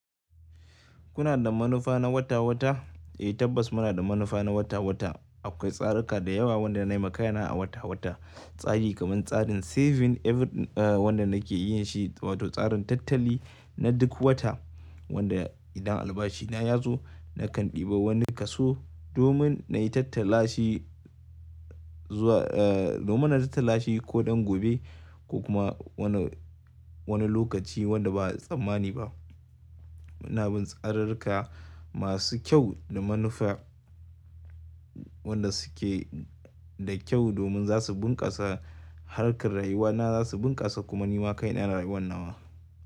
Kuna da manufa na wata-wata? Eh tabbas muna da manufa na wata-wata. Akwai tsaraka da yawa wanda na yi makai na a wata-wata. Tsari kamar tsarin saving every wanda nake yin shi wato tsarin tattali na duk wata wanda idan albashi na ya zo nakan ɗiba wani kaso domin na yi tattalashi zuwa eh domin na tattalashi ko ɗan gobe ko kuma wani, wani lokaci wanda ba a tsammani ba. Muna bin tsararaka masu kyau da manufa wanda suke da kyau domin za su bunƙasa harkar rayuwa na za su bunƙasa kuma ni ma kai na yana rayuwan nawa.